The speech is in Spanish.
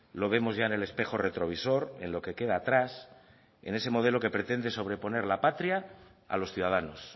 lo vemos ya en el espejo retrovisor en lo que queda atrás en ese modelo que pretende sobreponer la patria a los ciudadanos